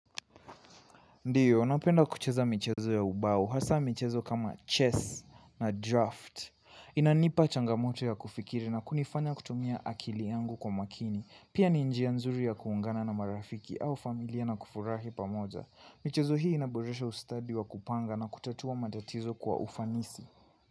Ndiyo, napenda kucheza michezo ya ubau, hasa michezo kama chess na draft. Inanipa changamoto ya kufikiri na kunifanya kutumia akili yangu kwa makini. Pia ni njia nzuri ya kuungana na marafiki au familia na kufurahi pamoja. Michezo hii inaboresha ustadi wa kupanga na kutatua matatizo kwa ufanisi.